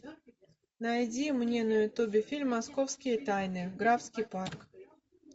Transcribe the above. найди мне на ютубе фильм московские тайны графский парк